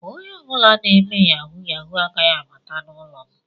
Onye ọ bụla na-eme yahu yahu agaghị abata n'ụlọ m.